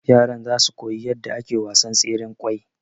yaran zasu koyi yadda ake wasan tseren kwai